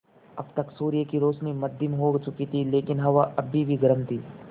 अब तक सूर्य की रोशनी मद्धिम हो चुकी थी लेकिन हवा अभी भी गर्म थी